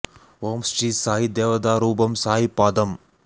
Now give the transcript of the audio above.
ஓம் ஸ்ரீ சாயி தேவதா ரூபம் சாயி பாதம்